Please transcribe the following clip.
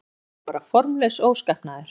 En þetta var bara formlaus óskapnaður.